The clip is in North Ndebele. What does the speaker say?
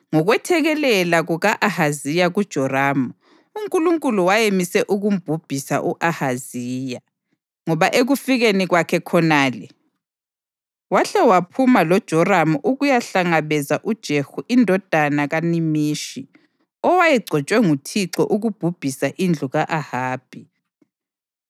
Ngokwethekelela kuka-Ahaziya kuJoramu, uNkulunkulu wayemise ukumbhubhisa u-Ahaziya. Ngoba ekufikeni kwakhe khonale wahle waphuma loJoramu ukuyahlangabeza uJehu indodana kaNimishi owayegcotshwe nguThixo ukubhubhisa indlu ka-Ahabi.